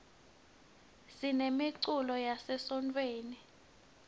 sinemiculo yase sontfweni